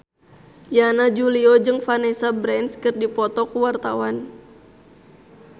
Yana Julio jeung Vanessa Branch keur dipoto ku wartawan